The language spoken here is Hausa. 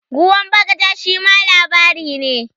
"Ruwan bagaja" shima labari ne.